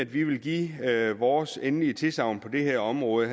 vi vil give vores endelige tilsagn på det her område